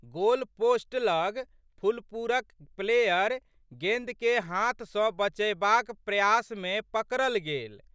Goalpost लग फुलपुरक player गेंदके हाथ सँ बचयबाक प्रयासमे पकड़ल गेल।